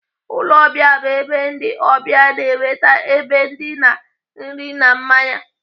Ụlọ ọbịa bụ ebe ndị ọbịa na-enweta ebe ndina, nri na mmanya.